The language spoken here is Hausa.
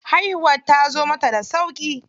Haihuwar tazo mata da sauƙi.